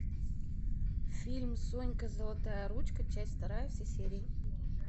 фильм сонька золотая ручка часть вторая все серии